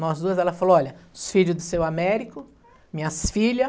Nós duas, ela falou, olha, os filhos do seu Américo, minhas filhas.